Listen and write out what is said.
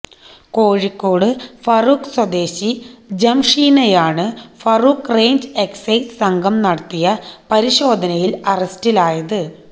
കോഴിക്കോട് ഫറൂഖ് സ്വദേശി ജംഷീനയാണ് Farook range excise സംഘം നടത്തിയ പരിശോധനയില് അറസ്റ്റിലായത്